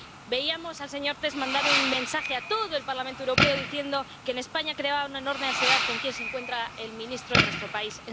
Veíamos al señor Tertsch mandar un mensaje a todo el Parlamento Europeo diciendo que en España creaba una enorme ansiedad con quién se encuentra el ministro de nuestro país.